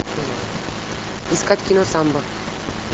искать кино самба